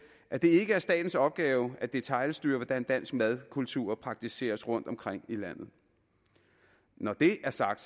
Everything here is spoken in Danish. at det ikke er statens opgave at detailstyre hvordan dansk madkultur praktiseres rundtomkring i landet når det er sagt